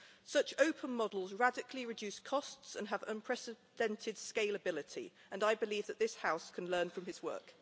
Such open models radically reduce costs and have unprecedented scalability, and I believe that this House can learn from his work.